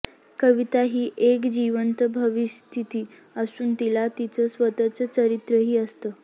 कविता ही एक जिवंत भावस्थिती असून तिला तिचं स्वतःचं चारित्र्यही असतं